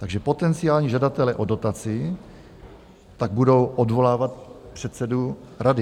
Takže potenciální žadatelé o dotaci tak budou odvolávat předsedu rady.